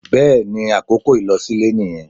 bẹẹni àkókò ilosile niyén